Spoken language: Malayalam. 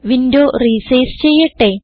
വിൻഡോ റിസൈസ് ചെയ്യട്ടെ